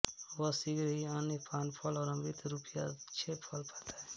वह शीघ्र ही अन्न पानफल और अमृत रूपी अक्षय फल पाता है